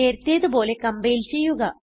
നേരത്തേതു പോലെ കംപൈൽ ചെയ്യുക